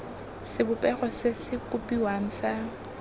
sebopego se se kopiwang sa